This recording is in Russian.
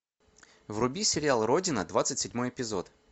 вруби сериал родина двадцать седьмой эпизод